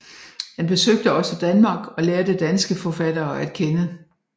Han besøgte også Danmark og lærte danske forfattere at kende